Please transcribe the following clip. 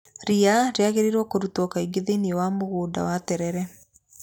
Ria rĩagĩrĩirwo kũrutwo kaingĩ thĩiniĩ wa mũgũnda wa terere.